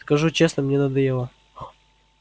скажу честно мне надоело